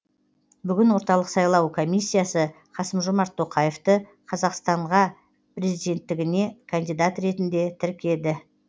бүгін орталық сайлау комиссиясы қасым жомарт тоқаевты қазақстана президенттігіне кандидат ретінде тіркеді